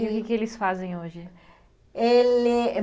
E o que que eles fazem hoje? Ele